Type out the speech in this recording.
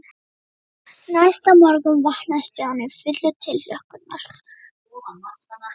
Næsta morgun vaknaði Stjáni fullur tilhlökkunar.